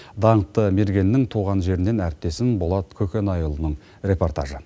даңқты мергеннің туған жерінен әріптесім болат көкенайұлының репортажы